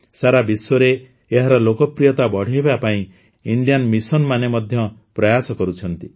ସାରା ବିଶ୍ୱରେ ଏହାର ଲୋକପ୍ରିୟତା ବଢ଼ାଇବା ପାଇଁ ଇଣ୍ଡିଆନ ମିଶନମାନ ମଧ୍ୟ ପ୍ରୟାସ କରୁଛନ୍ତି